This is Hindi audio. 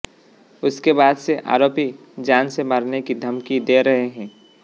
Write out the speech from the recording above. उसके बाद से आरोपी जान से मारने की धमकी दे रहे हैं